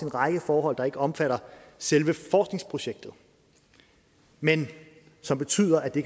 række forhold der ikke omfatter selve forskningsprojektet men som betyder at det